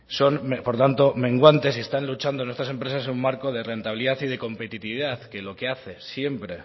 son por tanto menguantes y están luchando nuestras empresas en un marco de rentabilidad y de competitividad que lo que hace siempre